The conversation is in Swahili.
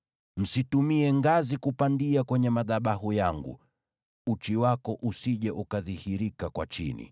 Msitumie ngazi kupandia kwenye madhabahu yangu, uchi wako usije ukadhihirika kwa chini.’